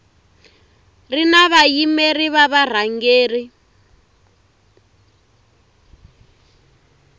ri na vayimeri va varhangeri